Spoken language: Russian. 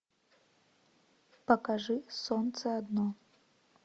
покажи солнце одно